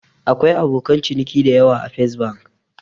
Akwai abokan ciniki dayawa a Fes Bank